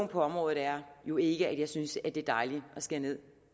på området er jo ikke at jeg synes at det er dejligt at skære ned